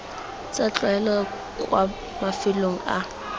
tsa tlwaelo kwa mafelong a